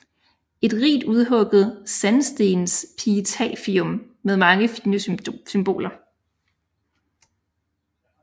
Et rigt udhugget sandstensepitafium med mange fine symboler